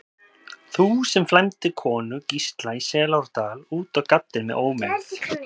Þú, sem flæmdir konu Gísla í Selárdal út á gaddinn með ómegð.